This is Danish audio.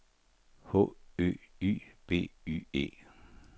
H Ø Y B Y E